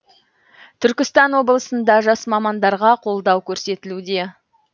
түркістан облысында жас мамандарға қолдау көрсетілуде